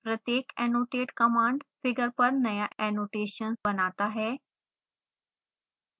प्रत्येक annotate command figure पर नया annotation बनाता है